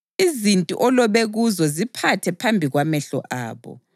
Izinti olobe kuzo ziphathe phambi kwamehlo abo